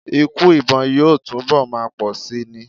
Ikú ìbọn yóò túnbọ̀ máa pọ̀ síi ni.